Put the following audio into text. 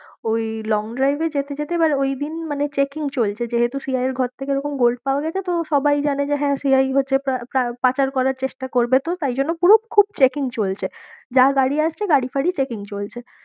ওই long drive এ যেতে যেতে এবার ঐদিন মানে checking চলছে যেহেতু CII এর ঘর থেকে ওরকম gold পাওয়া গেছে তো সবাই জানে যে হ্যাঁ CI হচ্ছে পাচার করার চেষ্টা করবে, তো তারজন্য পুরো খুব checking চলছে, যা গাড়ি আসছে গাড়ি ফাড়ি checking চলছে।